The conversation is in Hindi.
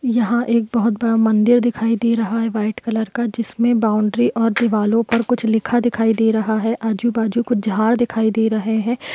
यहा एक बहोत बडा मंदिर दिखाई दे रहा है व्हाइट कलर का जिस्मे बॉउन्ड्री और दीवारों पर कुछ लिखा दिखाई दे रहा है आजू बाजू कुछ झाड़ दिखाई दे रहे है।